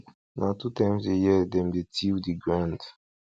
na two times a year dem dey till the ground